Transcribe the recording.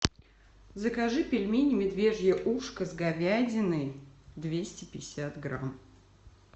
закажи пельмени медвежье ушко с говядиной двести пятьдесят грамм